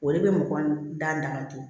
O de bɛ mɔgɔ da damatɛ